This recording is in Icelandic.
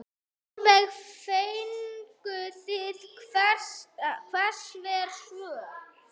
Sólveig: Fenguð þið einhver svör?